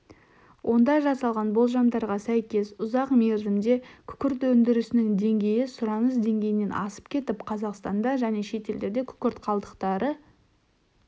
онда жасалған болжамдарға сәйкес ұзақ мерзімде күкірт өндірісінің деңгейі сұраныс деңгейінен асып кетіп қазақстанда және шетелде күкірт қалдықтары